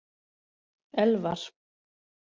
Elvar